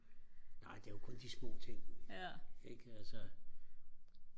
nej det er jo kun de små ting ikke altså